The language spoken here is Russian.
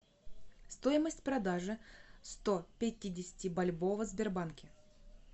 стоимость продажи сто пятидесяти бальбоа в сбербанке